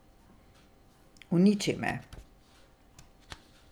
Uniči me.